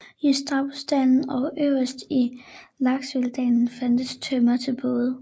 I Stabbursdalen og øverst i Lakselvdalen fandtes tømmer til både